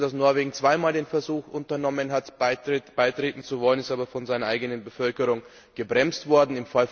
Wir wissen, dass Norwegen zweimal den Versuch unternommen hat, beitreten zu wollen, es ist aber von seiner eigenen Bevölkerung gebremst worden.